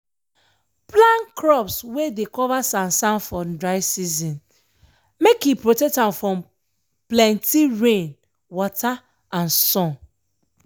plan crops wey dey cover sansan for dry season make e protect am from plenty rain wata and sun.